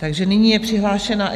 Takže nyní je přihlášena.